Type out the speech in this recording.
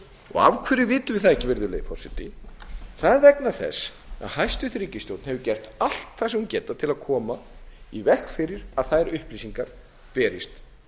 og af hverju vitum við það ekki það er vegna þess að hæstvirt ríkisstjórn hefur gert allt það sem hún hefur getað til að koma í veg fyrir að þær upplýsingar berist